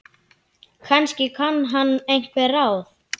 Kannski kann hann einhver ráð.